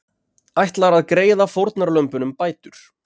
Ætlar að greiða fórnarlömbunum bætur